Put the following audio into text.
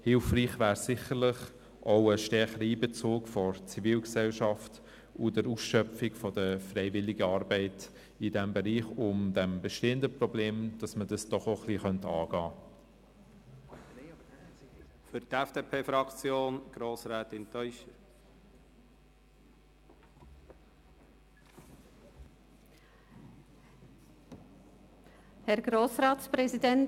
Hilfreich wären sicher ein stärkerer Einbezug der Zivilgesellschaft und die Ausschöpfung der Freiwilligenarbeit in diesem Bereich, um das bestehende Problem anzugehen.